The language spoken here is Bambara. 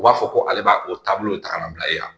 U b'a fɔ ko ale b'a o taabolo ta ka na bila e la